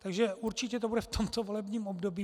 Takže určitě to bude v tomto volebním období.